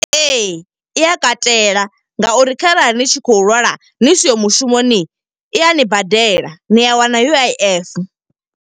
Ee, i ya katela nga uri kharali ni tshi khou lwala ni siho mushumoni. I a ni badela, ni a wana U_I_F.